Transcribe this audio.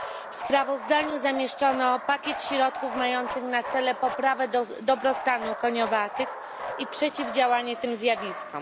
W sprawozdaniu zawarto pakiet środków mających na celu poprawę dobrostanu koniowatych i przeciwdziałanie takim zjawiskom.